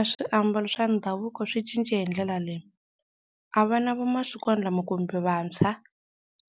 A swiambalo swa ndhavuko swi cince hi ndlela leyi, a vana va masikwana lama kumbe vantshwa